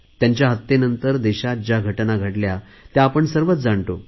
त्यांच्या हत्येनंतर देशात ज्या घटना घडल्या त्या आपण सर्वच जाणतो